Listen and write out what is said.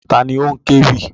Ta ni ó ń kéwì?